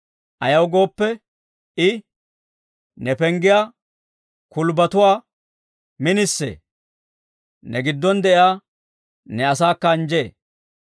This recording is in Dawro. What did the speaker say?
Ayaw gooppe, I, ne penggiyaa kulbbatuwaa minisee; ne giddon de'iyaa ne asaakka anjjee.